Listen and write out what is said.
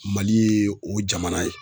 Mali ye o jamana ye.